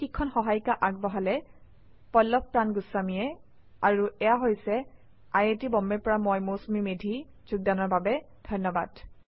এই শিক্ষণ সহায়িকা আগবঢ়ালে পল্লভ প্ৰান গুস্বামীয়ে আই আই টী বম্বে ৰ পৰা মই মৌচুমী মেধী এতিয়া আপুনাৰ পৰা বিদায় লৈছো যোগদানৰ বাবে ধন্যবাদ